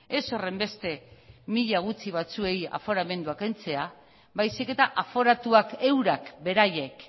ez horrenbeste mila gutxi batzuei aforamendua kentzea baizik eta aforatuak eurak beraiek